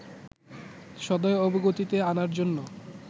সদয় অবগতিতে আনার জন্য